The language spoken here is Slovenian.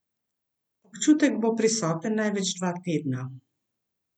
Občutek bo prisoten največ dva tedna.